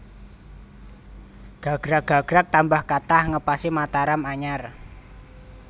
Gagrag gagrag tambah kathah ngepasi Mataram anyar